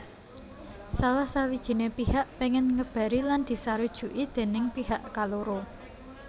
Salah sawijiné pihak péngèn ngebari lan disarujuki déning pihak kaloro